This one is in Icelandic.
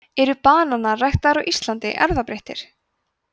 eru bananar ræktaðir á íslandi erfðabreyttir